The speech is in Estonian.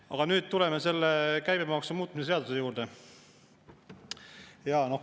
Aga nüüd tuleme käibemaksu muutmise seaduse juurde.